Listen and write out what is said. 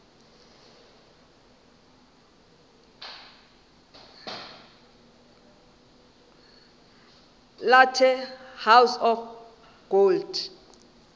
la the house of gold